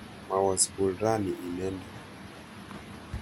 Mawo sukul rani inendet.